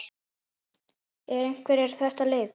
En hvernig er þetta lið?